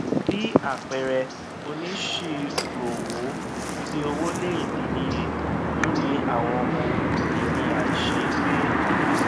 bí àpẹẹrẹ onisiroowo fi owó lé ìdínníye lórí àwọn ohun ìní àìṣeégbé